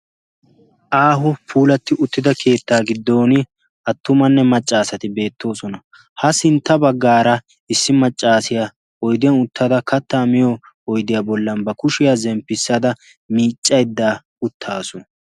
aaho puulati uttidda keetta giddon attumanne macca asati beettoosona. ha sintta baggara issi maccassiya katta miyo oyddiya bollan ba kushiyaa zemppissada miccaydda uttasu.